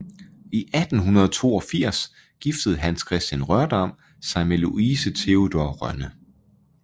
I 1882 giftede Hans Kristian Rørdam sig med Louise Theodore Rønne